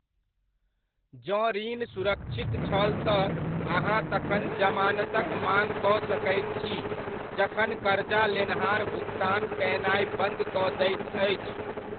जँ ऋण सुरक्षित छल तऽ अहाँ तखन जमानतक माङ कऽ सकैत छी जखन करजा लेनहार भुकतान कयनाय बन्द कऽ दैत अछि।